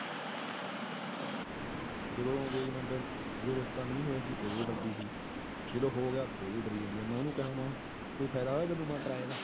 ਜਦੋ ਜਦੋ ਹੋ ਗਿਆ ਫੇਰ ਵੀ ਡਰੀ ਜਾਂਦੀ ਆ, ਮੈਂ ਓਹਨੂੰ ਕਿਹਾ ਕੋਈ ਫਾਇਦਾ ਹੋਇਆ ਤੈਨੂੰ ?